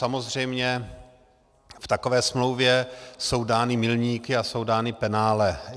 Samozřejmě v takové smlouvě jsou dány milníky a jsou dána penále.